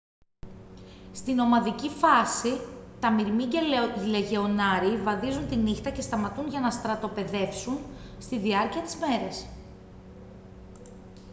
στη νομαδική φάση τα μυρμήγκια λεγεωνάριοι βαδίζουν τη νύχτα και σταματούν για να στρατοπεδεύσουν στη διάρκεια της μέρας